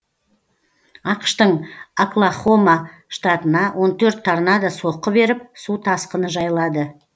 ақш тың оклахома штатына он төрт торнадо соққы беріп су тасқыны жайлады